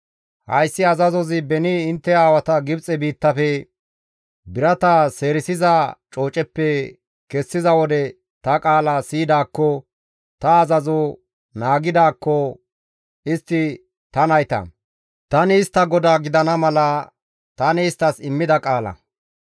« ‹Hayssi azazozi beni intte aawata Gibxe biittafe, birata seerisiza cooceppe kessiza wode ta qaala siyidaakko, ta azazo naagidaakko istti ta nayta; tani istta GODAA gidana mala tani isttas immida qaala.